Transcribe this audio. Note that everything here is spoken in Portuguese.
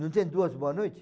Não tem duas boa noite?